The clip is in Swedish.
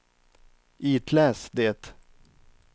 itläs det